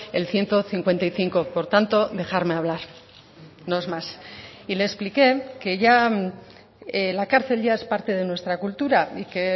el ciento cincuenta y cinco por tanto dejarme hablar no es más y le expliqué que ya la cárcel ya es parte de nuestra cultura y que